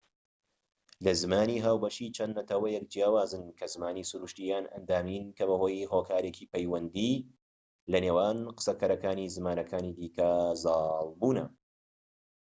لە زمانی ھاوبەشی چەند نەتەوەیەک جیاوازن کە زمانی سروشتی یان ئەندامیین کە بەهۆی هۆکارێکی پەیوەندی لە نێوان قسەکەرەکانی زمانەكانی دیکە زاڵ بوونە